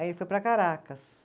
Aí ele foi para Caracas.